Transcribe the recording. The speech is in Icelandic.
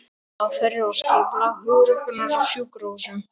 Aðferðir og skipulag hjúkrunar á sjúkrahúsum